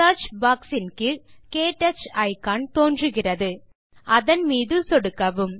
search box இன் கீழ் touch icon தோன்றுகிறது அதன் மீது சொடுக்கவும்